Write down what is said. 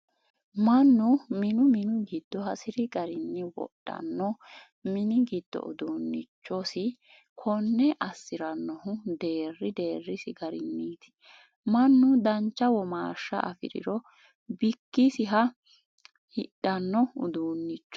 Mannu minu minu giddo hasiri garinni wodhano mini giddo uduunchosi, konne assiranohu deeri deerisi garinniti mannu dancha womaashsha afiriro bikkisiha hidhano uduuncho.